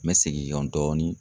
N bɛ segin kɔ dɔɔni.